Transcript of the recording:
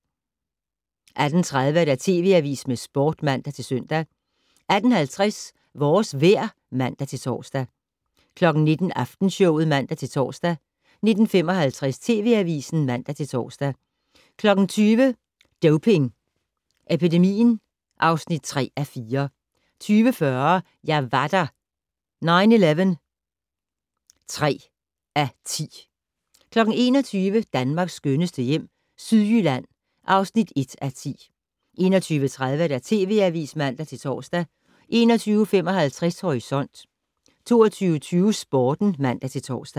18:30: TV Avisen med Sporten (man-søn) 18:50: Vores vejr (man-tor) 19:00: Aftenshowet (man-tor) 19:55: TV Avisen (man-tor) 20:00: Doping Epidemien (3:4) 20:40: Jeg var der - 9/11 (3:10) 21:00: Danmarks skønneste hjem - Sydjylland (1:10) 21:30: TV Avisen (man-tor) 21:55: Horisont 22:20: Sporten (man-tor)